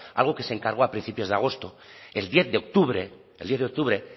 algo que se encargó a principios de agosto el diez de octubre el diez de octubre